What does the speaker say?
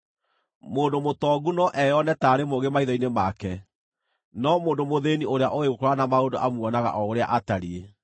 Mũndũ mũtongu no eyone taarĩ mũũgĩ maitho-inĩ make, no mũndũ mũthĩĩni ũrĩa ũũĩ gũkũũrana maũndũ amuonaga o ũrĩa atariĩ.